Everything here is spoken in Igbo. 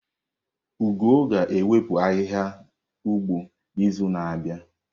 Ugo ga-ewepu ahihia ugbo n'izu na-abịa.